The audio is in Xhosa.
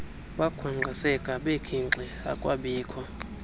bakhwankqiseka bekhinxi akwabikho